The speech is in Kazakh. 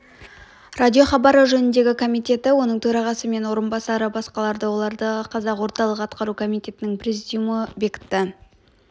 радиохабары жөніндегі комитетті оның төрағасы мен орынбасары басқарды оларды қазақ орталық атқару комитетінің президиумы бекітті